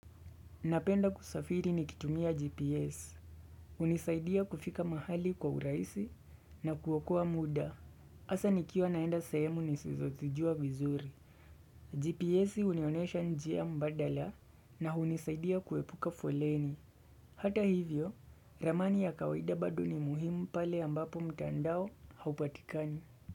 Napenda kusafiri nikitumia GPS. Hunisaidia kufika mahali kwa uraisi na kuokoa muda. Asa nikiwa naenda sahemu nisizo zijua vizuri. GPS hunionesha njia mbadala na hunisaidia kuepuka foleni. Hata hivyo, ramani ya kawaida bado ni muhimu pale ambapo mtandao haupatikani.